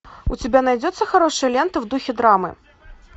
у тебя найдется хорошая лента в духе драмы